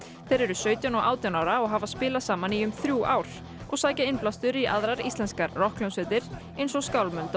þeir eru sautján og átján ára og hafa spilað saman í um þrjú ár og sækja innblástur í aðrar íslenskar rokkhljómsveitir eins og skálmöld og